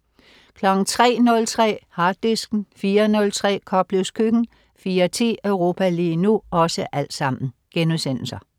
03.03 Harddisken* 04.03 Koplevs Køkken* 04.10 Europa lige nu*